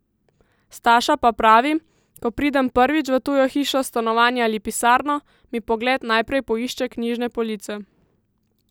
Staša pa pravi: "Ko pridem prvič v tujo hišo, stanovanje ali pisarno, mi pogled najprej poišče knjižne police.